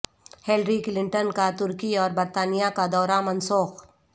Hillary Clinton کا ترکی اور برطانیہ کا دورہ منسوخ